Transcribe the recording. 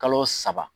Kalo saba